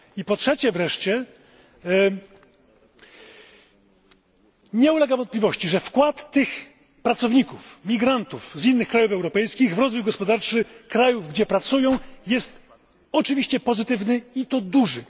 Po trzecie wreszcie, nie ulega wątpliwości, że wkład tych pracowników, migrantów z krajów europejskich w rozwój gospodarczy krajów, gdzie pracują, jest oczywiście pozytywny, i to duży.